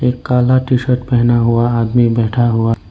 काला T shirt पहना हुआ आदमी बैठा हुआ।